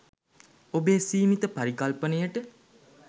ඔබේ සීමිත පරිකල්පනයට